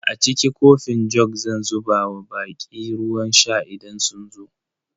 A cikin kofin jug zan zuba wa baƙi ruwan sha idan sun zo.